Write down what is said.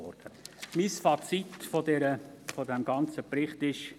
Mein Fazit zu diesem ganzen Bericht ist: